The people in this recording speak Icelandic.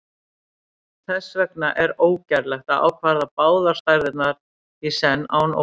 þess vegna er ógerlegt að ákvarða báðar stærðirnar í senn án óvissu